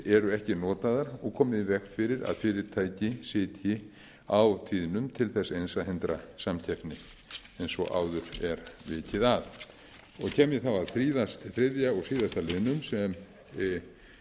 eru ekki notaðar og komið í veg fyrir að fyrirtæki sitji á tíðnum til þess eins að hindra samkeppni eins og áður er vikið að kem ég þá að þriðja og síðasta liðnum sem